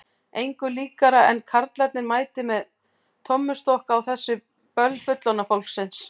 Engu líkara en karlarnir mæti með tommustokka á þessi böll fullorðna fólksins.